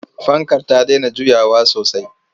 Fankar ta dena juyawa sosai.